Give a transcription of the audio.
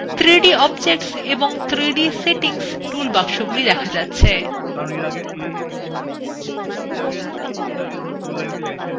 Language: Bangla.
3dobjects এবং 3dসেটিংস tool বাক্সগুলি দেখা যাচ্ছে